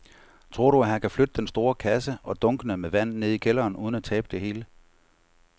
Tror du, at han kan flytte den store kasse og dunkene med vand ned i kælderen uden at tabe det hele?